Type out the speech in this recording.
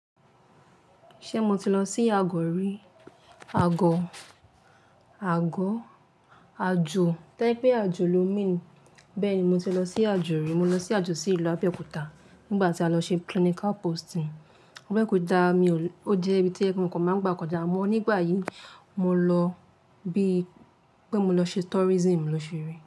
Ṣé mo ti lọ sí Agọ rí? Agọ, àgọ́, àjò tẹ́ pé àjò lo mean. Bẹ́ẹ̀ni mo ti lọ sí àjò rí, mo lọ sí àjò sí ìlú Abẹ́òkúta nígbà tí a lọ ṣe clinical posting. Abẹ́òkúta mi ò le-- ó jẹ́ ibi tójẹ pé mo kan máa ń gbà kọjá. Mo nígbà yí mo lọ bí pé mo lọ ṣe tourism ló ṣe rí.